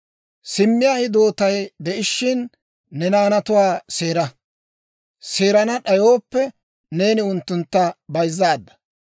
Simmiyaa hidootay de'ishiina, ne naanatuwaa seera; seerana d'ayooppe, neeni unttuntta bayzzaadda.